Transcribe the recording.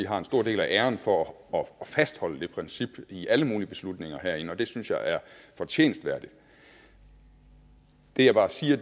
har en stor del af æren for at fastholde det princip i alle mulige beslutninger herinde og det synes jeg er fortjenestværdigt det jeg bare siger